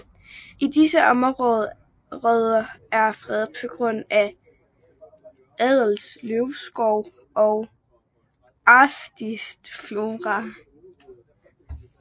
Disse områder er fredet på grund af ædelløvskov og en artsrig flora